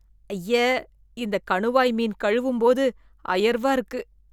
ஐய! இந்த கணுவாய் மீன் கழுவும்போது ஐயர்வா இருக்கு.